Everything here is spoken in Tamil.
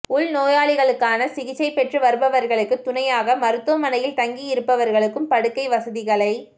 உள்நோயாளிகளாக சிகிச்சை பெற்று வருபவர்களுக்குத் துணையாக மருத்துவமனையில் தங்கியிருப்பவர்களுக்கும் படுக்கை வசதிகளை